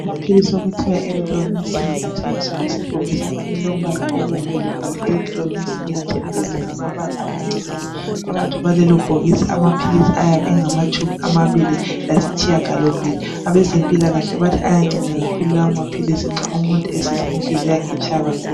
Amaphilisi okuthiwa Erythromycin. Athengiswa esebhokisi elilombala obomvu. Libhalwe erythromycin tablets, ngamabala amancinyane. Phakathi kwalelobhokisi amaphilisi ayabe engamatshumi amabili lasitshiyagalombili. Abezempilakahle, bathi ayanceda kakhulu lawomaphilisi. Nxa umuntu esizwa inhliziyo yakhe itshaya kakhulu.